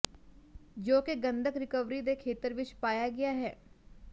ਜੋ ਕਿ ਗੰਧਕ ਰਿਕਵਰੀ ਦੇ ਖੇਤਰ ਵਿੱਚ ਪਾਇਆ ਗਿਆ ਹੈ